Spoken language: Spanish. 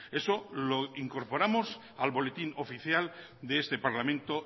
eso lo incorporamos al boletín oficial de este parlamento